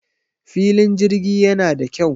filin jirgi yana da kyau